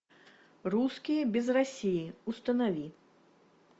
русские без россии установи